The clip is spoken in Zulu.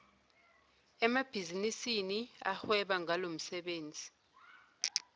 emabhizinisini ahweba ngalomsebenzi